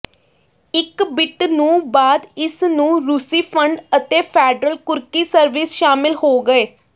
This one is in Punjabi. ਇੱਕ ਬਿੱਟ ਨੂੰ ਬਾਅਦ ਇਸ ਨੂੰ ਰੂਸੀ ਫੰਡ ਅਤੇ ਫੈਡਰਲ ਕੁਰਕੀ ਸਰਵਿਸ ਸ਼ਾਮਲ ਹੋ ਗਏ